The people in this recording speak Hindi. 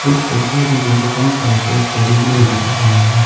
इस तस्वीर में मुझे कई सारे पेड़ पौधे भी नजर आ रहे हैं।